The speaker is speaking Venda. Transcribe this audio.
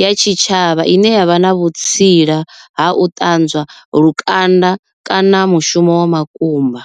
ya tshitshavha ine yavha na vhutsila ha u ṱanzwa lukanda kana mushumo wa makumba.